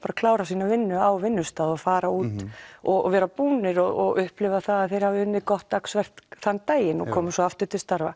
klára sína vinnu á vinnustað og fara út og vera búnir og upplifa það að þeir hafi unnið gott dagsverk þann daginn og koma svo aftur til starfa